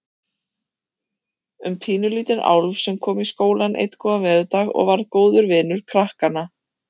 Um pínulítinn álf sem kom í skólann einn góðan veðurdag og varð góður vinur krakkanna.